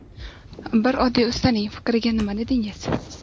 Bir oddiy ustaning fikriga nima dedingiz?